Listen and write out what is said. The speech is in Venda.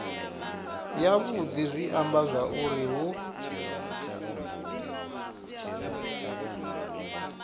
yavhudi zwi amba zwauri hu